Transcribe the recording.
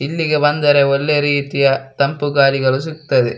ಇಲ್ಲಿಗೆ ಬಂದರೆ ಒಳ್ಳೆ ರೀತಿಯ ತಂಪು ಗಾಳಿಗಳು ಸಿಗ್ತ್ತವೆ.